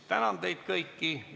Tänan teid kõiki!